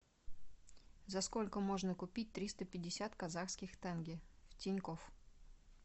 за сколько можно купить триста пятьдесят казахских тенге в тинькофф